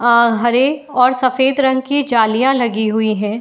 अ हरे और सफेद रंग की जलियाँ लगी हुई हैं।